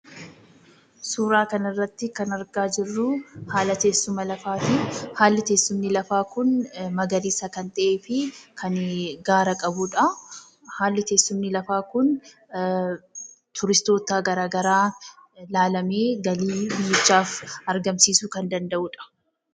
Suuraa kanarrattii kan argaa jirruu haala tessuma lafaatii. Haalli teessumni lafaa kun magariisa kan ta'ee fi kan gaara qabudhaa. Haalli teessumni lafaa kun turistoota garaa garaa laalamee galii biyyichaaf argamsiisuu kan danda'udha.